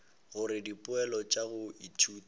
gore dipoelo tša go ithuta